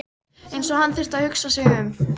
Eins og hann þyrfti að hugsa sig um.